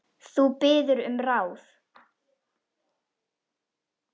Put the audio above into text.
Þú biður um ráð.